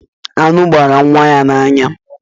Eh, aṅụ gbara nwa ya n'anya.